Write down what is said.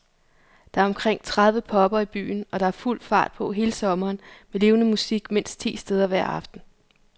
Der er omkring tredive pubber i byen, og der er fuld fart på hele sommeren med levende musik mindst ti steder hver aften.